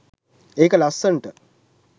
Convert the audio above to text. ඒක ලස්සනට